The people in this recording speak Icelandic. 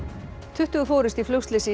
tuttugu fórust í flugslysi í